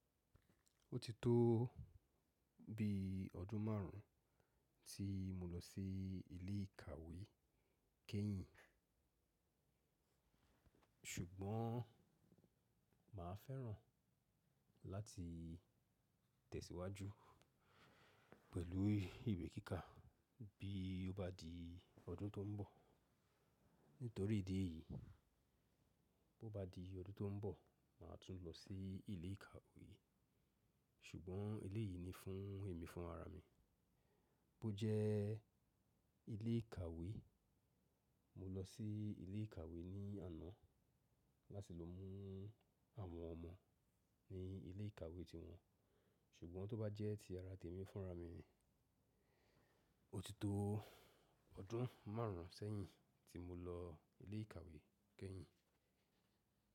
Ó ti tó bi ọdún márùn ún tí mo lọ sí ilé ìkàwé kẹ́yìn. Ṣùgbọ́n màá fẹ́ràn láti tẹ̀síwájú pẹ̀lú ìwé kíkà bí ó bá di ọdún tó n bọ̀. Nítorí ìdí èyí, bó bá di ọdún tó ń bọ̀, màá tún lọ sí ilé ìkàwé. Ṣùgbọ́n eleyìí ni fún ẹ̀mí fún ara mi. Bó jẹ́ ilé ìkàwé, mo lọ sí ilé ìkàwé ní àná láti lọ mú àwọn ọmọ ní ilé ìkàwé ti wọn. Ṣùgbọ́n tó bá jẹ́ ti ara tèmi fúnra mi ni, ó ti tó ọdún márùn ún sẹ́yìn tí mo lọ ilé ìkàwé kẹ́yìn.